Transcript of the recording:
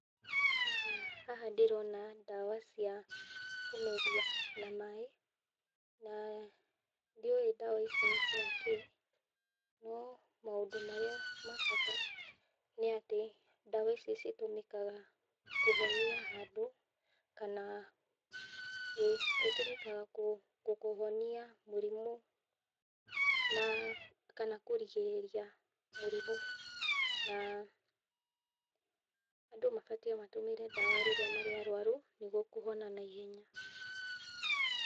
Haha ndĩrona ndawa cia kũmeria na maĩ, na ndiũĩ ndawa ici nĩ ciakĩ no maũndũ marĩa mabata nĩ atĩ ndawa ici citũmĩkaga kũhonia handũ kana, ĩĩ citũmĩkaga kũhonia mũrimũ kana kũgirĩrĩria mĩrĩmu na andũ mabatie kũhũthĩra ndawa rĩrĩa marĩ arwari nĩguo kũhona na ihenya.